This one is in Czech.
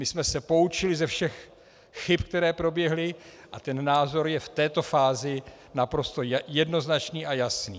My jsme se poučili ze všech chyb, které proběhly, a ten názor je v této fázi naprosto jednoznačný a jasný.